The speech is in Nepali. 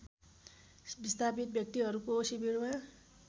विस्थापित व्यक्तिहरूको शिविरमा